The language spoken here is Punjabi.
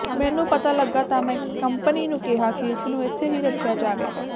ਮੈਨੂੰ ਪਤਾ ਲੱਗਾ ਤਾਂ ਮੈਂ ਕੰਪਨੀ ਨੂੰ ਕਿਹਾ ਕਿ ਇਸ ਨੂੰ ਇੱਥੇ ਹੀ ਰੱਖਿਆ ਜਾਵੇਗਾ